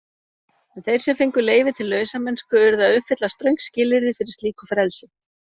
En þeir sem fengu leyfi til lausamennsku urðu að uppfylla ströng skilyrði fyrir slíku frelsi.